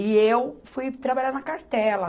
E eu fui trabalhar na cartela.